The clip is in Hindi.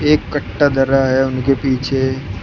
एक कट्टा धरा है उनके पीछे--